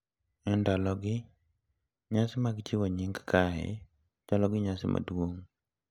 E ndalogi, nyasi mag chiwo nying kae chalo gi nyasi maduong’,